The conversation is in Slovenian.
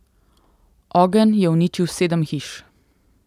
Ogenj je uničil sedem hiš.